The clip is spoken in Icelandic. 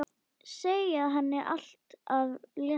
Segja henni allt af létta.